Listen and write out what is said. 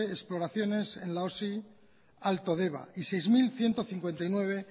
exploraciones en la osi alto deba y seis mil ciento cincuenta y nueve